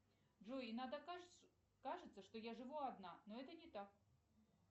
джой иногда кажется что я живу одна но это не так